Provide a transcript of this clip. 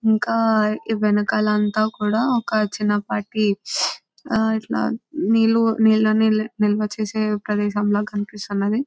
ఇంకా వెనకాల అంతా కూడా ఒక చిన్నపాటి నీళ్ళు నిల్వచేసే ప్రదేశం లాగా కనిపిస్తుంది.